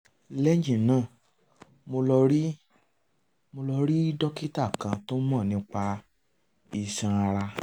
lẹ́yìn náà mo lọ rí lọ rí dókítà kan tó mọ̀ nípa iṣan ara